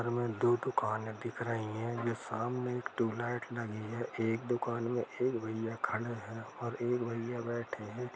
अर में दो दुकाने दिख रही है ये सामने आई एक ट्यूबलाइट लगी है एक दुकान में एक भैया खड़े है और एक भैया बैठे है।